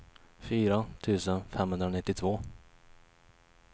fyra tusen femhundranittiotvå